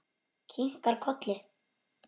Kinkar kolli.